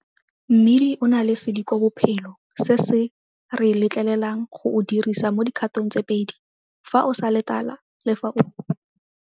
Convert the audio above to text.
Mmidi o na le sedikobophelo se se re letleleleang go o dirisa mo dikgatong tse pedi, fa o sa le tala le fa o.